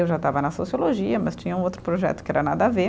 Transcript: Eu já estava na sociologia, mas tinha um outro projeto que era nada a ver.